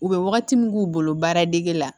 U bɛ wagati min k'u bolo baaradege la